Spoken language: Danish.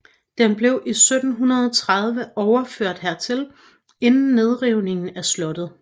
Den blev i 1730 overført hertil inden nedrivningen af slottet